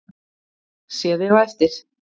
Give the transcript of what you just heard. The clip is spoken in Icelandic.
Sé þig á eftir.